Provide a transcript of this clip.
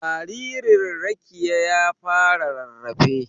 Jaririn Rekiya ya fara rarrafe.